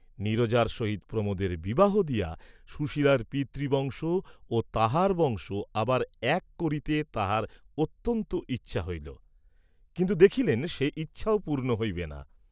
নীরজার সহিত প্রমোদের বিবাহ দিয়া সুশীলার পিতৃবংশ ও তাঁহার বংশ আবার এক করিতে তাঁহার অত্যন্ত ইচ্ছা হইল, কিন্তু দেখিলেন সে ইচ্ছাও পূর্ণ হইবে না।